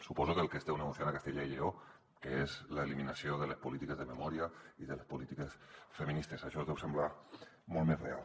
suposo que el que esteu negociant a castella i lleó que és l’eliminació de les polítiques de memòria i de les polítiques feministes això us deu semblar molt més real